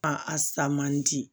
A a sa man di